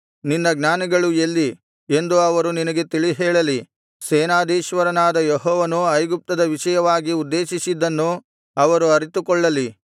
ನಿನ್ನ ಜ್ಞಾನಿಗಳು ಎಲ್ಲಿ ಎಂದು ಅವರು ನಿನಗೆ ತಿಳಿ ಹೇಳಲಿ ಸೇನಾಧೀಶ್ವರನಾದ ಯೆಹೋವನು ಐಗುಪ್ತದ ವಿಷಯವಾಗಿ ಉದ್ದೇಶಿಸಿದ್ದನ್ನು ಅವರು ಅರಿತುಕೊಳ್ಳಲಿ